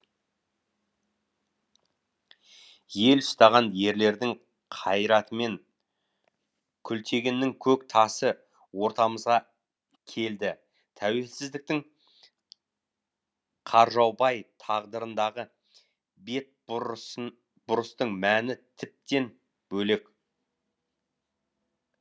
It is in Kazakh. ел ұстаған ерлердің қайратымен күлтегіннің көк тасы ортамызға келді тәуелсіздіктің қаржаубай тағдырындағы бетбұрыстың мәні тіптен бөлек